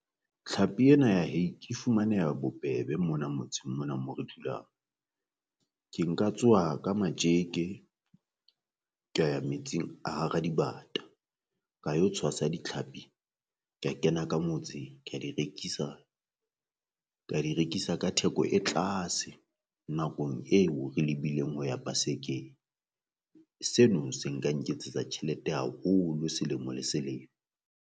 Tlhapi ena ya hake e fumaneha bobebe mona motseng mona mo re dulang, ke nka tsoha ka matjeke kea ya metsing a hara dibata ka yo tshwasa ditlhapi kea kena ka motse ka di rekisa ka di rekisa ka theko e tlase nakong eo re lebileng ho ya pasekeng. Seno se nka nketsetsa tjhelete haholo selemo le selemo.